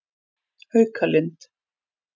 Haukalind